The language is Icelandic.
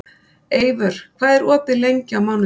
Eivör, hvað er opið lengi á mánudaginn?